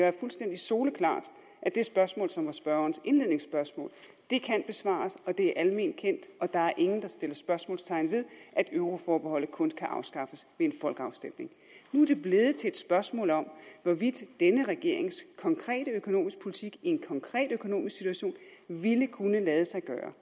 er fuldstændig soleklart at det spørgsmål som var spørgerens indledningsspørgsmål kan besvares det er alment kendt og der er ingen der sætter spørgsmålstegn ved at euroforbeholdet kun kan afskaffes en folkeafstemning nu er det blevet til et spørgsmål om hvorvidt denne regerings konkrete økonomiske politik i en konkret økonomisk situation ville kunne lade sig gøre